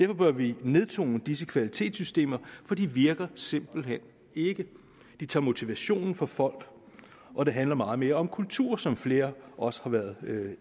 bør vi nedtone disse kvalitetssystemer for de virker simpelt hen ikke de tager motivationen fra folk og det handler meget mere om kultur som flere også har været